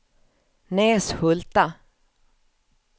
Näshulta